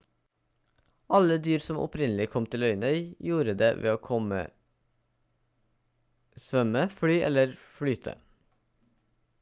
alle dyr som opprinnelig kom til øyene gjorde det ved å svømme fly eller flyte